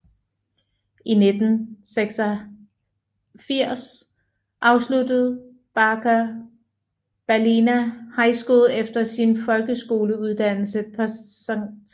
I 1986 afsluttede Baker Ballina High School efter sin folkeskoleuddannelse på St